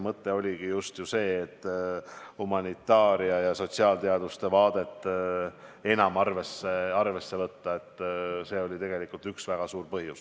Mõte oligi just humanitaaria ja sotsiaalteaduste vaadet enam arvesse võtta – see oli tegelikult üks väga suur põhjus.